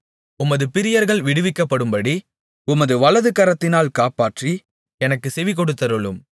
உமது பிரியர்கள் விடுவிக்கப்படும்படி உமது வலதுகரத்தினால் காப்பாற்றி எனக்குச் செவிகொடுத்தருளும்